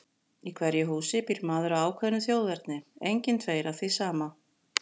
Í hverju húsi býr maður af ákveðnu þjóðerni, engir tveir af því sama.